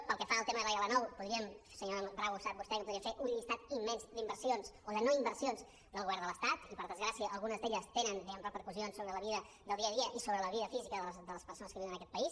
pel que fa al tema de l’l9 podríem senyora bravo ho sap vostè que podríem fer un llistat immens d’inversions o de no inversions del govern de l’estat i per desgràcia algunes d’elles tenen diguem ne repercussions sobre la vida del dia a dia i sobre la vida física de les persones que viuen en aquest país